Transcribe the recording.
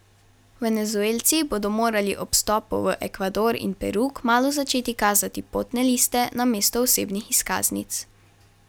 Venezuelci bodo morali ob vstopu v Ekvador in Peru kmalu začeti kazati potne liste namesto osebnih izkaznic.